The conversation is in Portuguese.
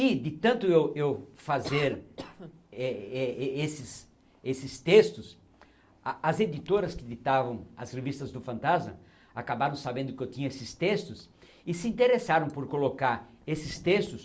E de tanto eu eu fazer eh eh esses esses textos, a as editoras que editavam as revistas do Fantasma acabaram sabendo que eu tinha esses textos e se interessaram por colocar esses textos